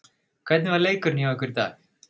Hvernig var leikurinn hjá ykkur í dag?